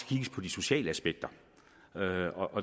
kigges på de sociale aspekter